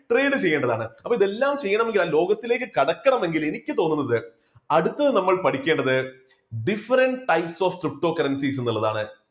trade ചെയ്യേണ്ടതാണ്, അപ്പോൾ ഇതെല്ലാം ചെയ്യണമെങ്കിൽ ആ ലോകത്തിലേക്ക് കടക്കണമെങ്കിൽ എനിക്ക് തോന്നുന്നത് അടുത്തത് നമ്മൾ പഠിക്കേണ്ടത് different types of cryptocurrencies ന്നുള്ളതാണ്